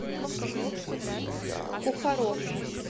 кухаров